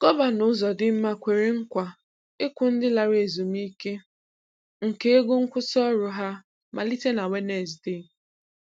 Gọvanọ Uzodimma kwere nkwa ịkwụ ndị lara ezumike nka ego nkwụsị ọrụ ha malite na Wednezde